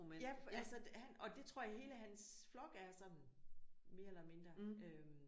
Ja for altså han og det tror jeg hele hans flok er sådan mere eller mindre øh